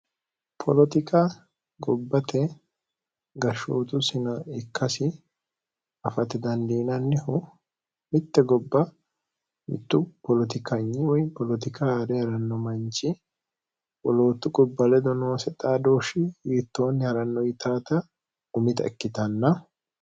poolotika gobbate garshootu sina ikkasi afati dandiinannihu mitte gobba mittu poolotikanyi woy polotika haa're ha'ranno manchi woloottu gubba ledo noose xaa dooshshi yiittoonni ha'ranno yitaata umita ikkitanna